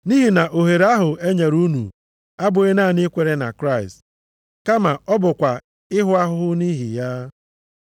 Nʼihi na ohere ahụ e nyere unu, abụghị naanị ikwere na Kraịst, kama ọ bụkwa ịhụ ahụhụ nʼihi ya.